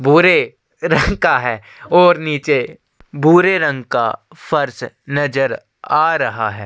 भूरे रंग और निचे भूरे रंग का फर्स नज़र आ रहा है।